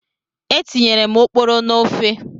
Etinyere m oporo n'ofe.